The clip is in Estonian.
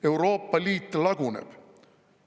Euroopa Liit laguneb.